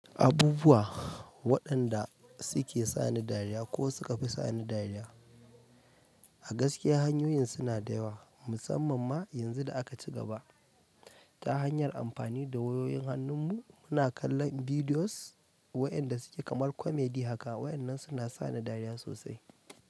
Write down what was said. Abubuwa waɗanda suke sani dariya ko suka fi sani dariya, a gaskiya hanyoyin suna da yawa musamman ma yanzu da aka ci gaba ta hanyar amfani da wayoyin hannun mu muna kallon bidiyos wayanda suke kamar komedi haka waƴannan suna sani dariya sosai.